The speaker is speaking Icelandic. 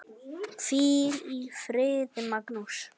Hvíl í friði, Magnús.